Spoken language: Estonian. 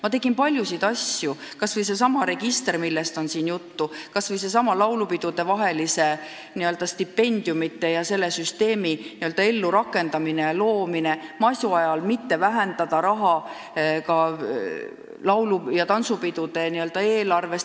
" Ma tegin paljusid asju – kas või seesama register, millest on siin juttu olnud, kas või seesama laulupidudevaheliste n-ö stipendiumide süsteemi ellurakendamine, et ka masu ajal ei vähendataks laulu- ja tantsupidude eelarve summasid.